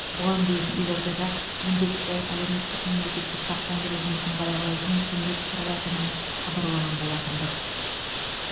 бұған дейін елордада міндетті әлеуметтік мемлекеттік сақтандыру жұмысын қадағалайтын кеңес құрылатынын хабарлаған болатынбыз